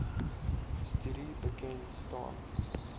studie bekend staan